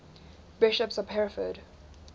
bishops of hereford